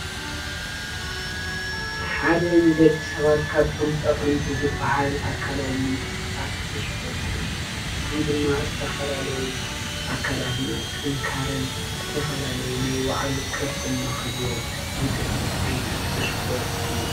ሓደ ንደቂ ሰባት ካብቶም ጠቀምቲ ዝባሃል ኣካለዊ ምንቅስቃስ እስፖርት እዩ፡፡ እዚ ድማ ዝተፈላለዩ ኣካልና ጥንካረን ዝተፈላለዩ ናይ ባዕሉ ቅርፂ ንህልዎ ዝገብር ዓይነት እስፖርት እዩ፡፡